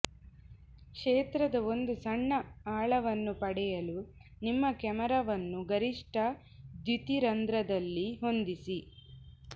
ಕ್ಷೇತ್ರದ ಒಂದು ಸಣ್ಣ ಆಳವನ್ನು ಪಡೆಯಲು ನಿಮ್ಮ ಕ್ಯಾಮೆರಾವನ್ನು ಗರಿಷ್ಟ ದ್ಯುತಿರಂಧ್ರದಲ್ಲಿ ಹೊಂದಿಸಿ